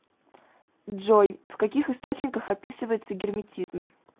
джой в каких источниках описывается герметизм